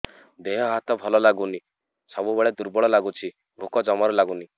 ଦେହ ହାତ ଭଲ ଲାଗୁନି ସବୁବେଳେ ଦୁର୍ବଳ ଲାଗୁଛି ଭୋକ ଜମାରୁ ଲାଗୁନି